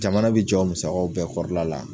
Jamana bi jɔ o musakaw bɛɛ kɔrɔla la